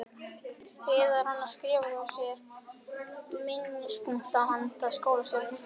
Eða er hann að skrifa hjá sér minnispunkta handa skólastjóranum?